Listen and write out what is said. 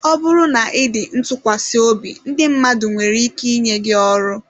Ọ bụrụ na ị dị ntụkwasịobi ndị mmadụ nwere ike inye gị ọrụ.